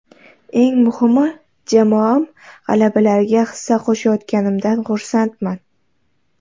Eng muhimi jamoam g‘alabalariga hissa qo‘shayotganimdan xursandman.